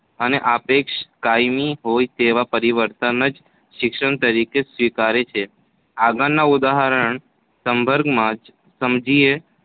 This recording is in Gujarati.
અને સાપેક્ષ કાયમી હોય તેવા પરિવર્તન જ શિક્ષણ તરીકે સ્વીકારે છે. આગળના ઉદાહરણના સંદર્ભમાં જ સમજીએ